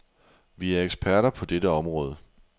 Vi er eksperter på dette område.